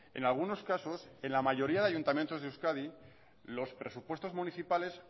en algunos casos en la mayoría de ayuntamientos de euskadi los presupuestos municipales